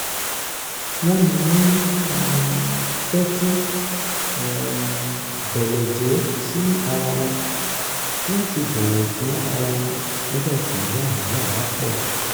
wọ́n máa ń um tẹ́tí um bẹ̀lẹ̀jẹ́ sí ara wọn láti bọ̀wọ̀ fún ara wọn nígbà tí wàhálà bá pọ̀